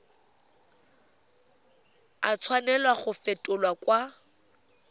a tshwanela go fetolwa kwa